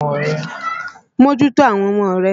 Mójútó àwọn ọmọ rẹ!